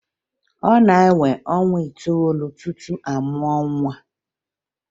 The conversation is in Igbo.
Ọ na-ewe ọnwa itoolu tupu amụọ nwa